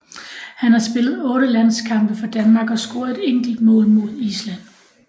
Han har spillet 8 landskampe for Danmark og scoret et enkelt mål mod Island